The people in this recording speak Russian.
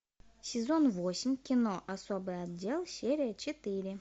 сезон восемь кино особый отдел серия четыре